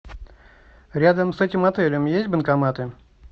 рядом с этим отелем есть банкоматы